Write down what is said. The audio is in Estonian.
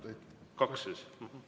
Kas kaks?